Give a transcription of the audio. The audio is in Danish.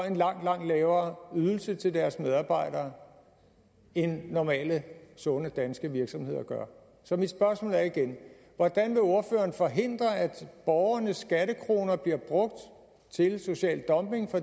en langt langt lavere ydelse til deres medarbejdere end normale sunde danske virksomheder gør så mit spørgsmål er igen hvordan vil ordføreren forhindre at borgernes skattekroner bliver brugt til social dumping